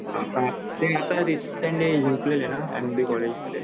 हां ते आता एम डी कॉलेजमध्ये